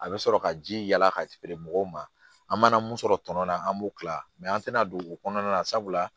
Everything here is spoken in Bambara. A bɛ sɔrɔ ka ji yaala ka feere mɔgɔw ma an mana mun sɔrɔ tɔn na an b'o kila an tɛna don o kɔnɔna na sabula